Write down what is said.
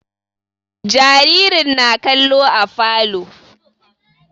Jaririn na kallo a falo